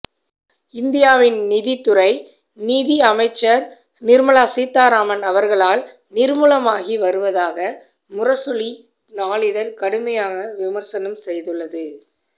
இந்தியாவின் நிதித்துறை நிதியமைச்சர் நிர்மலா சீதாராமன் அவர்களால் நிர்மூலமாகி வருவதாக முரசொலி நாளிதழ் கடுமையாக விமர்சனம் செய்துள்ளது